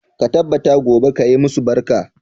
Ka tabbata gobe ka yi masu barka.